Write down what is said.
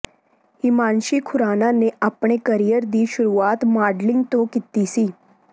ਹਿਮਾਂਸ਼ੀ ਖੁਰਾਨਾ ਨੇ ਆਪਣੇ ਕਰੀਅਰ ਦੀ ਸ਼ੁਰੂਆਤ ਮਾਡਲਿੰਗ ਤੋਂ ਕੀਤੀ ਸੀ